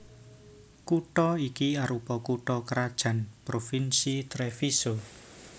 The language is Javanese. Kutha iki arupa kutha krajan Provinsi Treviso